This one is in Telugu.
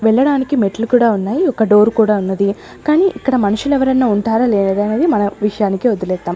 వెళ్ళడానికి మెట్లు కూడా ఉన్నాయి ఒక డోరు కూడా ఉన్నది కానీ ఇక్కడ మనుషులెవరన్నా ఉంటారా లేదా అనేది మన విషయానికే వదిలేద్దాం.